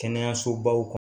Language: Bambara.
Kɛnɛyasobaw kɔ